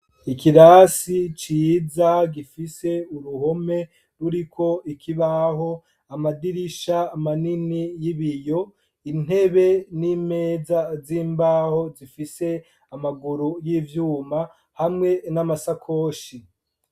Ikirasi, ciza, gifise Uruhome, ruriko ikibaho, Amadirisha manini y'ibiyo, Intebe n'Imeza vy'imbaho, Bifise Amaguru y'ivyuma hamwe N'Amasakoshi